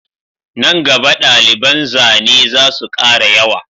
Nan gaba daliban zane zasu kara yawa